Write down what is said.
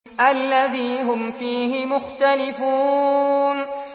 الَّذِي هُمْ فِيهِ مُخْتَلِفُونَ